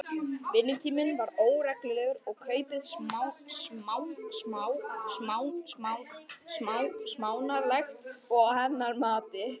Vinnutíminn var óreglulegur og kaupið smánarlegt, að hennar mati.